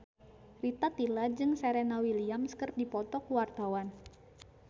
Rita Tila jeung Serena Williams keur dipoto ku wartawan